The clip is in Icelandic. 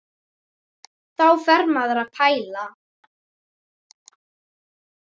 Þá fer maður að pæla.